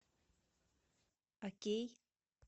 окей